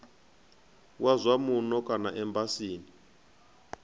wa zwa muno kana embasini